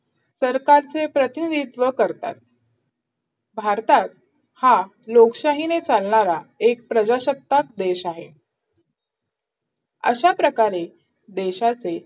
सरकारचे प्रतीनिधीत्व करतात भारतात हा लोकशाहीने चालणारा एक प्रजासत्ताक देश आहे अशाप्रकारे देशाचे